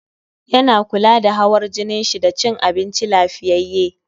Yana kula da hawar jinin shi da cin abinci lafiyyaye